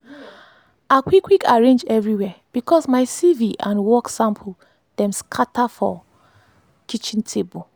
i quick quick arrange everywhere bcos my cv and work sample dem scatter for scatter for kitchen table